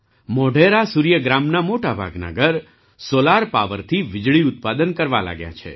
મોઢેરા સૂર્ય ગ્રામનાં મોટા ભાગનાં ઘર સૉલાર પાવરથી વીજળી ઉત્પાદન કરવા લાગ્યાં છે